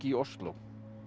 í Osló